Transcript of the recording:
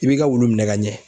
I b'i ka wulu minɛ ka ɲɛ.